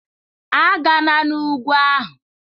A gana n'ugwu ahụ!